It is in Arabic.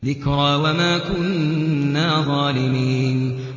ذِكْرَىٰ وَمَا كُنَّا ظَالِمِينَ